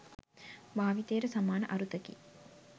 භාවිතයට සමාන අරුතකි